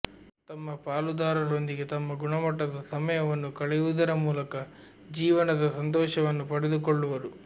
ತಮ್ಮ ಪಾಲುದಾರರೊಂದಿಗೆ ತಮ್ಮ ಗುಣಮಟ್ಟದ ಸಮಯವನ್ನು ಕಳೆಯುವುದರ ಮೂಲಕ ಜೀವನದ ಸಂತೋಷವನ್ನು ಪಡೆದುಕೊಳ್ಳುವರು